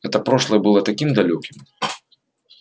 это прошлое было таким далёким